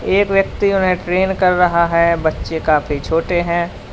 एक व्यक्ति उन्हें ट्रेन कर रहा है बच्चे काफी छोटे हैं।